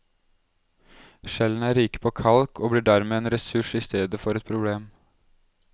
Skjellene er rike på kalk og blir dermed en ressurs i stedet for et problem.